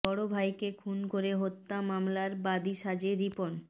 বড় ভাইকে খুন করে হত্যা মামলার বাদী সাজে রিপন